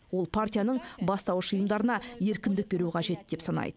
ол партияның бастауыш ұйымдарына еркіндік беру қажет деп санайды